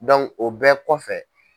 o bɛɛ kɔfɛ.